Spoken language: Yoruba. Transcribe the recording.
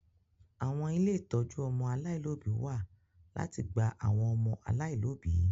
Àwọn ilé ìtọ́jú ọmọ aláìlóbìí wa láti gba àwọn ọmọ aláìlóbìí